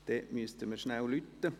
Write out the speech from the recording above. Nun müssten wir rasch läuten.